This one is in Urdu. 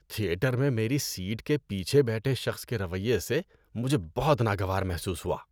تھیٹر میں میری سیٹ کے پیچھے بیٹھے شخص کے رویے سے مجھے بہت ناگوار محسوس ہوا۔